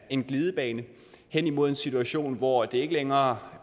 en glidebane hen imod en situation hvor det ikke længere